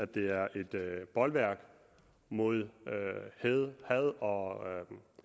det er et bolværk mod had og